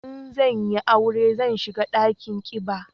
In zan yi aure zan shiga dakin kiba